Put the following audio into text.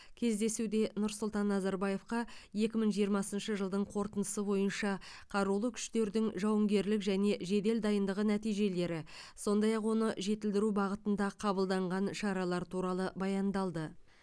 кездесуде нұрсұлтан назарбаевқа екі мың жиырмасыншы жылдың қорытындысы бойынша қарулы күштердің жауынгерлік және жедел дайындығы нәтижелері сондай ақ оны жетілдіру бағытында қабылданған шаралар туралы баяндалды